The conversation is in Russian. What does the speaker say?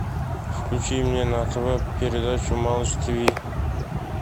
включи мне на тв передачу малыш тиви